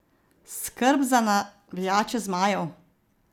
Skrb za navijače zmajev?